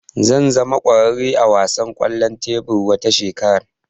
Zan zama kwararre a wasan kwallon tebur wata shekara